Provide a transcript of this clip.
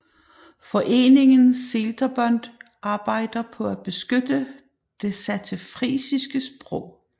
Foreningen Seelter Bund arbejder på at beskytte det saterfrisiske sprog